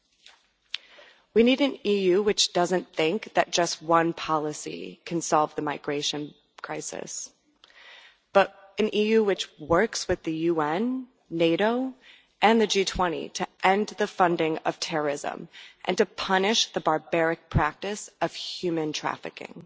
We do not need an EU which thinks that just one policy can solve the migration crisis, but an EU which works with the UN, NATO, and the G20 to end the funding of terrorism and to punish the barbaric practice of human trafficking.